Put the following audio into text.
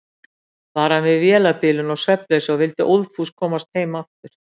Bar hann við vélarbilun og svefnleysi og vildi óðfús komast heim aftur.